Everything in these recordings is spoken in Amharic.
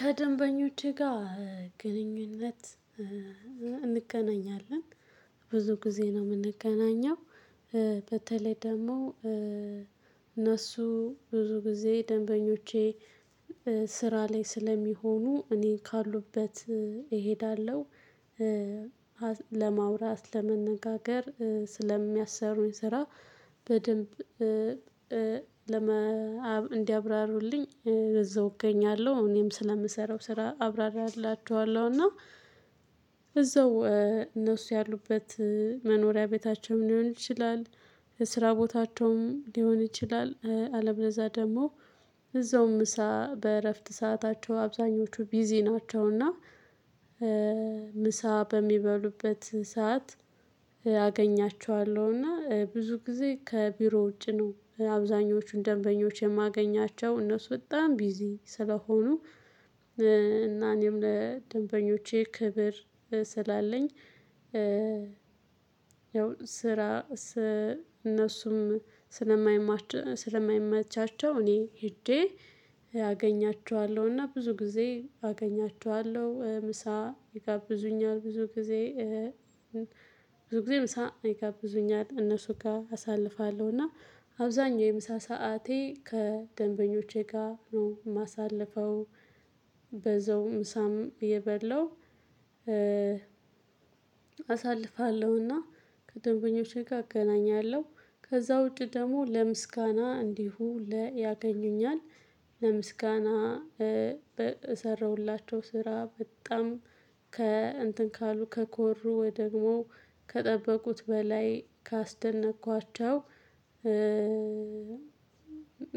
ከደንበኞቼ ጋር ግንኙነት እንገናኛለን ብዙ ጊዜ ነው የምንገናኘው። በተለይ ደግሞ እነሱ ብዙ ጊዜ ደንበኞቼ ስራ ላይ ስለሚሆኑ እኔ ካሉበት እሄዳለሁ። ለማውራት ለመነጋገር ስለሚያሰሩኝ ስራ በደንብ እንዲያብራሩልኝ እዛው እገኛለሁ እኔም ስለምሰራው ስራ አብራራላችኋለሁ እና እዛው እነሱ ያሉበት መኖሪያ ቤታቸውም ሊሆን ይችላል። ስራ ቦታቸውም ሊሆን ይችላል አለ በለዛ ደግሞ እዛውም ምሳ በእረፍት ሰአታቸው አብዛኞቹ ቢዚ ናቸው። እና ምሳ በሚበሉበት ሰዓት አገኛቸዋለሁ። እና ብዙ ጊዜ ከቢሮ ውጪ ነው አብዛኞቹን ደንበኞች የማገኛቸው እነሱ በጣም ቢዚ ስለሆኑ። እና እኔም ለደንበኞቼ ክብር ስላለኝ ያው ስራ እነሱም ስለማይመቻቸው እኔ ሄጄ አገኛቸዋለሁና ብዙ ጊዜ አገኛቸዋለሁ ምሳ ይጋብዙኛል። ብዙ ጊዜ ምሳ ይጋብዙኛል እነሱ ጋር አሳልፋለሁ አብዛኛው የምሳ ሰዓቴ ከደንበኞቼ ጋር ነው የማሳልፈው። በዛው ምሳም እየበለው አሳልፋለሁና ከደንበኞቼ ጋር። አገናኛለሁ ከዛ ውጪ ደግሞ ለምስጋና እንዲሁ ለ ያገኙኛል ለምስጋና በሰራሁላቸው ስራ በጣም ከእንትን ካሉ ከኮሩ ወይ ደግሞ ከጠበቁት በላይ ካስደነቅኳቸው።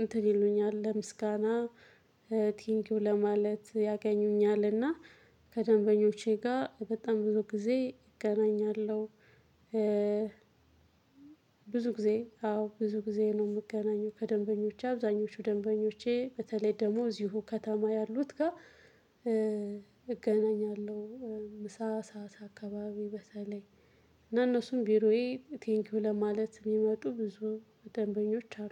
እንትን ይሉኛል ለምስጋና ቲንኪው ለማለት ያገኙኛልና ከደንበኞቼ ጋር በጣም ብዙ ጊዜ እገናኛለሁ። ብዙ ጊዜ አዎ ብዙ ጊዜ ነው የምገናኘው ከደንበኞቼ አብዛኞቹ ደንበኞቼ በተለይ ደግሞ እዚሁ ከተማ ያሉት ጋር እገናኛለሁ። ምሳ ሳሳ አካባቢ በተለይ እና እነሱም ቢሮዬ ቴንኪው ለማለት የሚመጡ ብዙ ደንበኞች አሉ